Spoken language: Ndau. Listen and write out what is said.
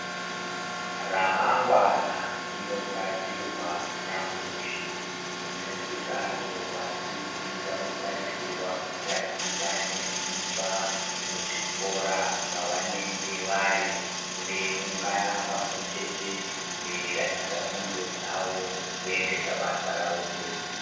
Ramangwana rinogadzirwa nyamushi, nekudaro vadzidzi vanotarisirwa kutaticha zvinesimba muzvikora zvavanenge vari veiungana pamwechete veishandisa ndxondo dzavo kuendesa basa ravo mberi.